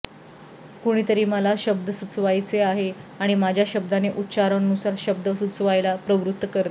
कुणीतरी मला शब्द सुचवायचे आहे आणि माझ्या शब्दाने उच्चारानुसार शब्द सुचवायला प्रवृत्त करते